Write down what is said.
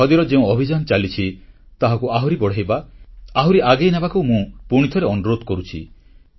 ଖଦୀର ଯେଉଁ ଅଭିଯାନ ଚାଲିଛି ତାହାକୁ ଆହୁରି ବଢ଼ାଇବା ଆହୁରି ଆଗେଇ ନେବାକୁ ମୁଁ ପୁଣିଥରେ ଅନୁରୋଧ କରୁଛି